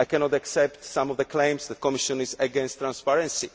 I cannot accept some of the claims that the Commission is against transparency